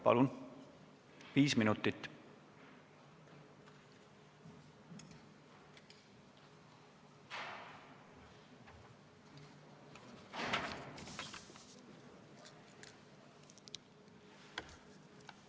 Palun, viis minutit!